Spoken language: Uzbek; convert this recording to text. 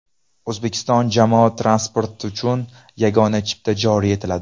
O‘zbekiston jamoat transporti uchun yagona chipta joriy etiladi.